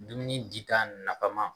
Dumuni di ta nafama